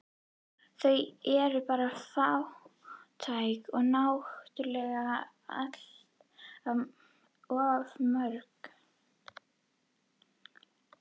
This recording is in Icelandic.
Þau eru bara fátæk og náttúrlega allt of mörg